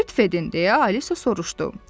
"Lütf edin" deyə Alisa soruştu.